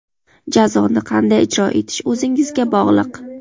Jazoni qanday ijro etish o‘zingizga bog‘liq).